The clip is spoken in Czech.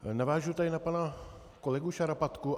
Navážu tady na pana kolegu Šarapatku.